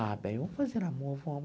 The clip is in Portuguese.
Ah, bem, vamos fazer amor, vamos.